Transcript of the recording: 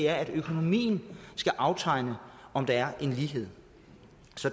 at økonomien skal afspejle om der er lighed